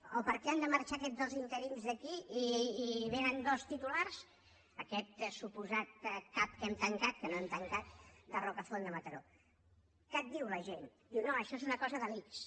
o per què han de marxar aquests dos interins d’aquí i vénen dos titulars aquest suposat cap que hem tancat que no hem tancat de rocafonda a mataró què et diu la gent diu no això és una cosa de l’ics